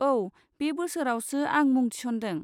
औ, बे बोसोरावसो आं मुं थिसन्दों।